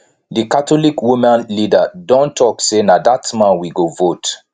d catholic woman leader don talk say na that man we go vote